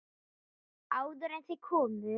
Áður en þau komu.